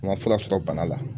U ma fura sɔrɔ bana la.